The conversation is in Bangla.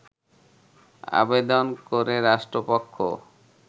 আবেদন করে রাষ্ট্রপক্ষ